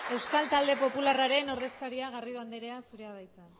euskal talde popularraren ordezkaria garrido anderea zurea da hitza